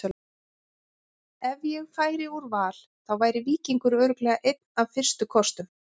Ef ég færi úr Val þá væri Víkingur örugglega einn af fyrstu kostum.